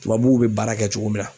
Tubabuw be baara kɛ cogo min na